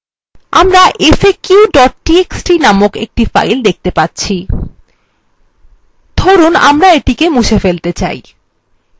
আমরা একটি file যার name faq txt present দেখতে পাব লিখুন আমরা এটি কে মুছে ফেলতে say